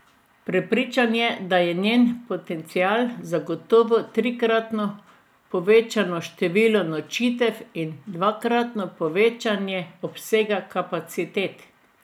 Prepričan je, da je njen potencial zagotovo trikratno povečano število nočitev in dvakratno povečanje obsega kapacitet.